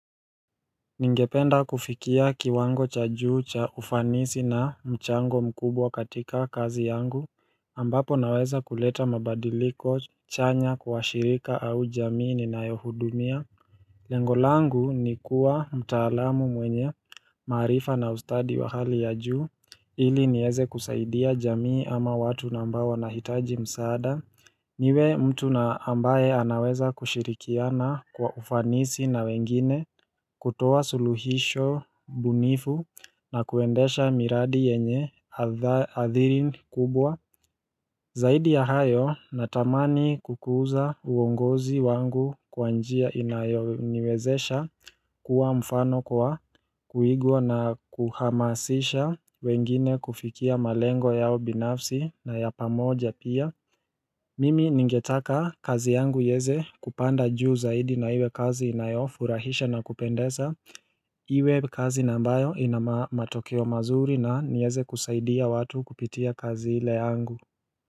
Ningependa kufikia kiwango cha juu cha ufanisi na mchango mkubwa katika kazi yangu ambapo naweza kuleta mabadiliko chanya kwa shirika au jamii ni nayohudumia Lengolangu ni kuwa mtaalamu mwenye maarifa na ustadi wa hali ya juu ili nieze kusaidia jamii ama watu nambao wanahitaji msaada niwe mtu na ambaye anaweza kushirikiana kwa ufanisi na wengine kutoa suluhisho bunifu na kuendesha miradi yenye hadha hadhiri kubwa Zaidi ya hayo natamani kukuza uongozi wangu kwanjia inayoniwezesha kuwa mfano kwa kuigwa na kuhamasisha wengine kufikia malengo yao binafsi na yapamoja pia Mimi ningetaka kazi yangu ieze kupanda juu zaidi na iwe kazi inayofurahisha na kupendesa Iwe kazi na ambayo inama matokeo mazuri na nieze kusaidia watu kupitia kazi ile yangu.